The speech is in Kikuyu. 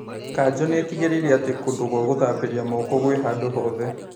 Kanjũ nĩtigĩrĩire atĩ kũndũ gwa gũthambĩria moko gwĩ handũ hothe